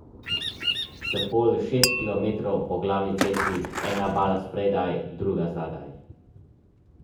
S polj šest kilometrov po glavni cesti, ena bala spredaj, druga zadaj.